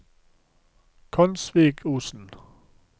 Konsvikosen